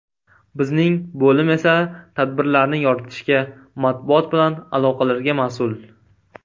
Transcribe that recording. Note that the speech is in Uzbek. Bizning bo‘lim esa tadbirlarni yoritishga, matbuot bilan aloqalarga mas’ul.